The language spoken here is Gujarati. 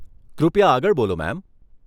કૃપયા આગળ બોલો મેમ.